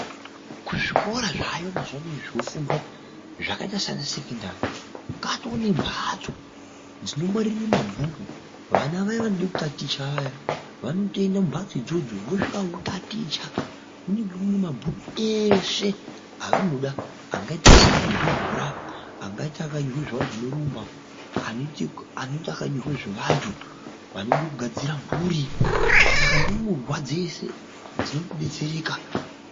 Kuzvikora zvayo mazwano zvinofundiswa zvakaita sana sekondari katone mbatso dzinongwarire mabhuku vana vaye vanode kukaticha vaye vanotoende mumbatsi idzodzo voto munenge mune mabhuku eshe avanoda angaite akanyorwe zvibhora angaite akanyorwa zveantu anowumba aneite akanyorwa zveantu andogadzire mhuri Saka ndumurwa dzese dznodetsereka.